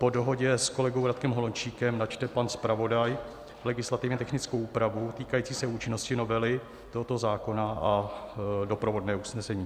Po dohodě s kolegou Radkem Holomčíkem načte pan zpravodaj legislativně technickou úpravu týkající se účinnosti novely tohoto zákona a doprovodné usnesení.